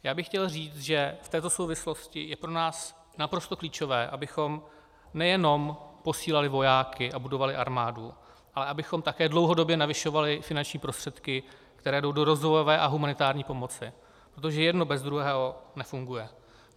Já bych chtěl říct, že v této souvislosti je pro nás naprosto klíčové, abychom nejenom posílali vojáky a budovali armádu, ale abychom také dlouhodobě navyšovali finanční prostředky, které jdou do rozvojové a humanitární pomoci, protože jedno bez druhého nefunguje.